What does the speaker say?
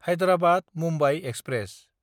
हैदराबाद–मुम्बाइ express